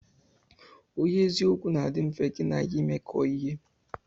Onye eziokwu na adi mfe gi n'ya imekọ ihe.